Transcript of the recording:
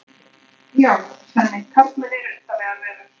Já, Svenni, karlmenn eru undarlegar verur.